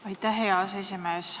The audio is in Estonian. Aitäh, hea aseesimees!